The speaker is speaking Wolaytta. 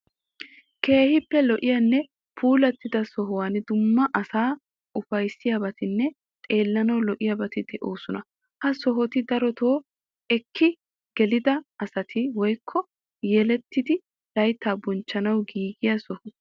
Keehippe lo'iyanne puulattida sohuwan dumma asaa ufayssiyabatinne xeellanawu lo'iyabati de'oosona. Ha sohoti darotoo eketti gelettida asati woyikko yelettidi layittaa bonchchanawu giigiya soho.